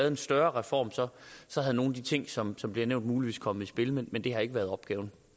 en større reform så var nogle af de ting som som bliver nævnt muligvis kommet i spil men det har ikke været opgaven